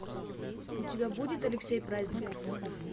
у тебя будет алексей праздников